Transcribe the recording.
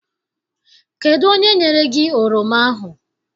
Kedụ onye nyere gị oroma ahụ?